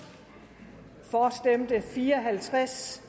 for stemte fire og halvtreds